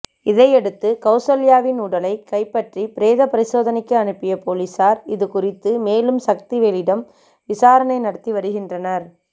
இதையடுத்து கவுசல்யாவின் உடலை கைப்பற்றி பிரேத பரிசோதனைக்கு அனுப்பிய பொலிசார் இது குறித்து மேலும் சக்திவேலிடம் விசாரணை நடத்தி வருகின்றனர்